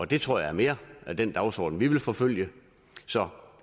det tror jeg mere er den dagsorden vi vil forfølge så